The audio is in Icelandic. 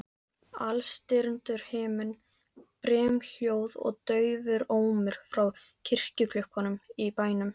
Alstirndur himinn, brimhljóð og daufur ómur frá kirkjuklukkunum í bænum.